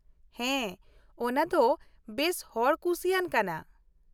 ᱦᱮᱸ ,ᱚᱱᱟ ᱫᱚ ᱵᱮᱥ ᱦᱚᱲ ᱠᱩᱥᱤᱭᱟᱱ ᱠᱟᱱᱟ ᱾